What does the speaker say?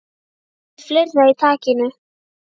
Með fleira í takinu